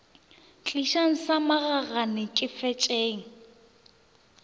tlišang sa magagane ke fetšeng